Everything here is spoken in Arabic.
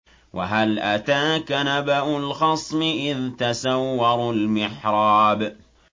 ۞ وَهَلْ أَتَاكَ نَبَأُ الْخَصْمِ إِذْ تَسَوَّرُوا الْمِحْرَابَ